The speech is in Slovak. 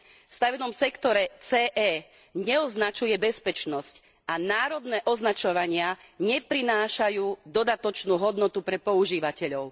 V stavebnom sektore CE neoznačuje bezpečnosť a národné označovania neprinášajú dodatočnú hodnotu pre používateľov.